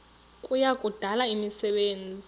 kuya kudala imisebenzi